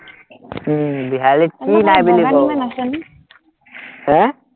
উম বিহালীত কি নাই আহ